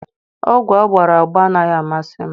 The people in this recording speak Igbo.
Ogwu agbara agba anaghị amasị m